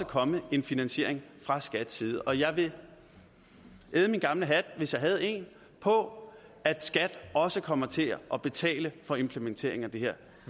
komme en finansiering fra skats side og jeg vil æde min gamle hat hvis jeg havde en på at skat også kommer til at betale for implementeringen af det her